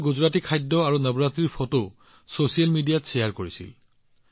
তেওঁলোকে গুজৰাটী খাদ্য আৰু নৱৰাত্ৰিৰ বহুতো ফটো ছচিয়েল মিডিয়াত শ্বেয়াৰ কৰিছিল